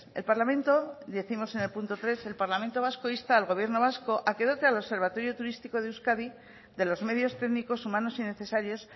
el parlamento vasco décimos en el punto tres insta al gobierno vasco a que dote al observatorio turístico de euskadi de los medios técnicos humanos y necesarios